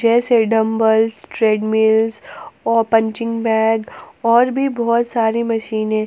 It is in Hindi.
जैसे डंबल्स ट्रेडमिल्स व पंचिंग बैग और भी बहुत सारी मशीनें।